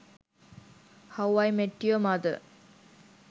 how i met your mother